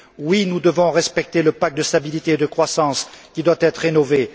Oui, nous devons respecter le pacte de stabilité et de croissance qui doit être rénové.